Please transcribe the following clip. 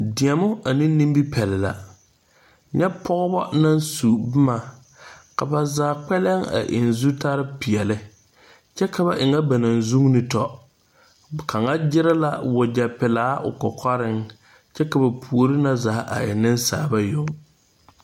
Deɛmo ane nimipɛle la nyɛ pɔgeba naŋ su boma ka ba zaa kpɛlem a eŋ zutarepeɛle kyɛ ka ba e ŋa ba naŋ zuuni tɔ kaŋa gyiri la wagyɛpelaa o kɔkɔreŋ kyɛ ka ba puori na zaa a e nensaaleba yoŋ.